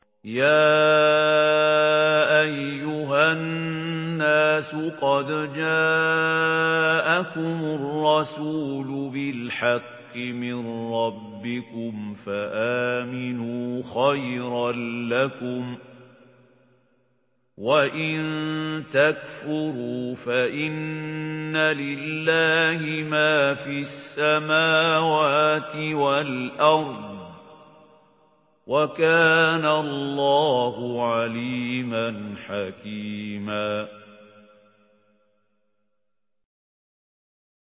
يَا أَيُّهَا النَّاسُ قَدْ جَاءَكُمُ الرَّسُولُ بِالْحَقِّ مِن رَّبِّكُمْ فَآمِنُوا خَيْرًا لَّكُمْ ۚ وَإِن تَكْفُرُوا فَإِنَّ لِلَّهِ مَا فِي السَّمَاوَاتِ وَالْأَرْضِ ۚ وَكَانَ اللَّهُ عَلِيمًا حَكِيمًا